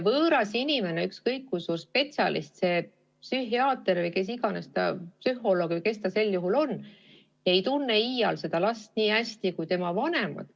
Võõras inimene, ükskõik kui suur spetsialist see psühhiaater, psühholoog või kes iganes ta on, ei tunne iial seda last nii hästi kui tema vanemad.